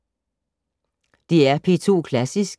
DR P2 Klassisk